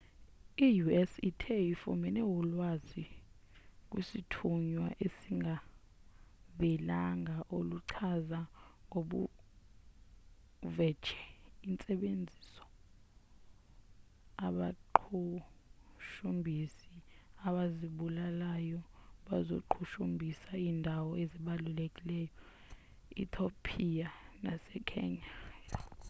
i-u.s ithe ifumene ulwazi kwisthunywa esingavelanga oluchaza ngobuvetshe intsebenziso abaqhushumbhisi abazibulalayo bazoqhushumbhisa iindawo ezibalulekileyo e-thiopiya nase-kenya